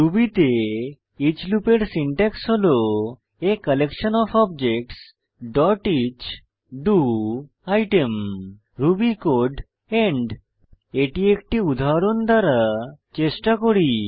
Ruby তে each লুপের syntax হল a collection of objects dot each do item Ruby code end এটি একটি উদাহরণ দ্বারা চেষ্টা করি